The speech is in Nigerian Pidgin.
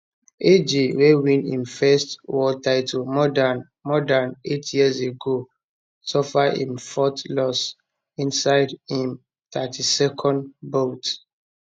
aj wey win im first world title more dan more dan eight years ago suffer im fourth loss inside im 32nd bout